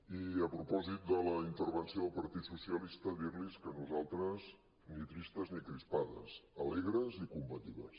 i a propòsit de la intervenció del partit socialista dir·los que nosaltres ni tristes ni crispades alegres i combatives